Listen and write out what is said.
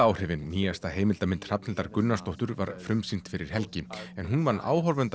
áhrifin nýjasta heimildarmynd Hrafnhildar Gunnarsdóttur var frumsýnd fyrir helgi en hún vann